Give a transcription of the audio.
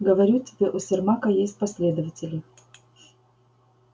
говорю тебе у сермака есть последователи